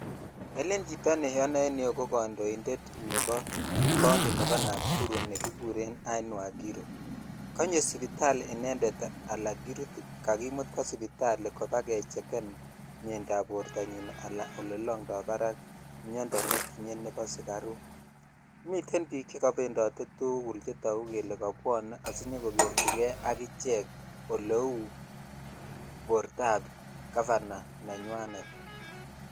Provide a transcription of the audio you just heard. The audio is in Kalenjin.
Elen chito neonoe en ireyu ko kondointet nebo county nebo Nakuru nekikuren Ann waiguru, konyo sipitali inendet alaan korute, kakimut kwo sipitali kobakecheken mnyeindab bortanyin alaan olee longdo barak miondo nebo sukaruk, miten biik chekopendote tukul chetoku kelee kobwone asinyokokerchi kee akichek oleuu bortab gavana nenywanet.